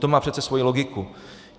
To má přece svoji logiku.